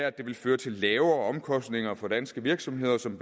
at det vil føre til lavere omkostninger for de danske virksomheder som i